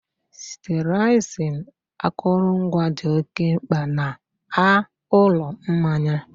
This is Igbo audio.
sterilizing akụrụngwa dị oke mkpa na a Ụlọ Mmanya